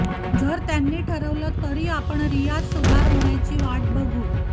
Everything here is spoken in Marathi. जर त्यांनी ठरवलं तरी आपण रियात सुधार होण्याची वाट बघू